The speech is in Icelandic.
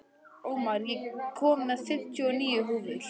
Ómar, ég kom með fimmtíu og níu húfur!